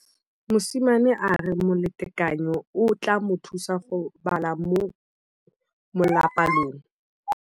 Mosimane a re molatekanyô o tla mo thusa go bala mo molapalong.